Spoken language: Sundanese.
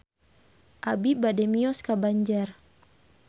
Abi bade mios ka Banjar